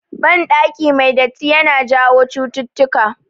Ban ɗaki mai datti yana jawo chututtuka